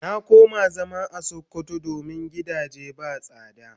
Na koma zama a sokoto domin gidage ba sada.